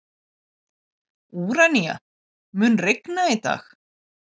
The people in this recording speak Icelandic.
Úranía, mun rigna í dag?